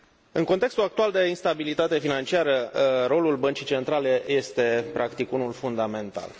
În contextul actual de instabilitate financiară, rolul Băncii Centrale este practic unul fundamental.